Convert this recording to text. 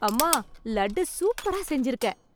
அம்மா லட்டு சூப்பரா செஞ்சிருக்க